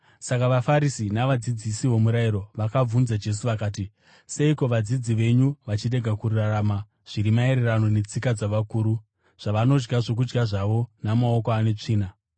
Saka vaFarisi navadzidzisi vomurayiro vakabvunza Jesu vakati, “Seiko vadzidzi venyu vachirega kurarama zviri maererano netsika dzavakuru, zvavanodya zvokudya zvavo ‘namaoko ane tsvina’?”